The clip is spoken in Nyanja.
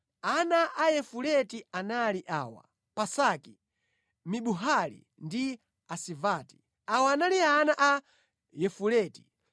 Ana a Yafuleti anali awa: Pasaki, Bimuhali ndi Asivati. Awa anali ana a Yafuleti.